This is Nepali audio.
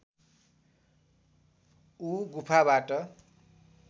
ऊ गुफाबाट